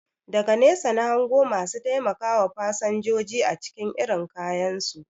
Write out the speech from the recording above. Daga nesa na hango masu taimakawa fasanjoji acikin irin kayansu